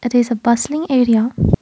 this is a bustling area.